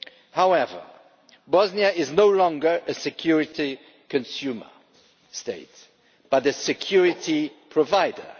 However, Bosnia is no longer a security consumer state, but a security provider.